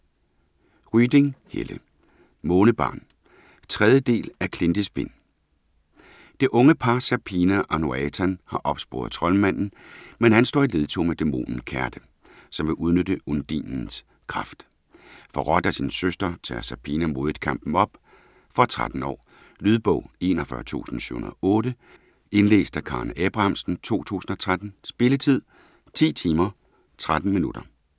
Ryding, Helle: Månebarn 3. del af Klintespind. Det unge par Serpina og Noatan har opsporet troldmanden, men han står i ledtog med dæmonen Kherte, som vil udnytte Undinens kraft. Forrådt af sin søster, tager Serpina modigt kampen op. Fra 13 år. Lydbog 41708 Indlæst af Karen Abrahamsen, 2013. Spilletid: 10 timer, 13 minutter.